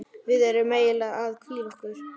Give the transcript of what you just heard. Við erum eiginlega að hvíla okkur.